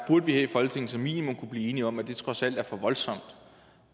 vi her i folketinget som minimum kunne blive enige om at det trods alt er for voldsomt